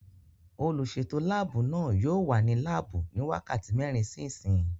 Olùsètò láàbù náà yóò wà ní láàbù ní wákàtí mẹ́rin sí ìsín